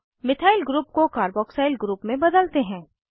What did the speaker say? अब methyl group को carboxyl group में बदलते हैं